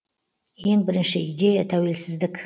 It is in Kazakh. ең бірінші идея тәуелсіздік